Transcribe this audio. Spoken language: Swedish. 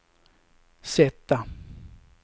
sätta